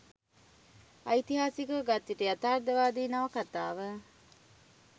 ඓතිහාසිකව ගත්විට යථාර්ථවාදී නවකතාව